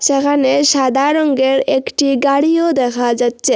যেখানে সাদা রঙ্গের একটি গাড়িও দেখা যাচ্চে।